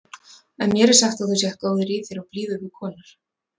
En mér er sagt að þú sért góður í þér og blíður við konur.